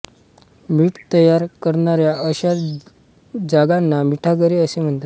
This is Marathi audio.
मीठ तयार करणाऱ्या अश्या जागांना मिठागरे असे म्हणतात